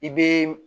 I be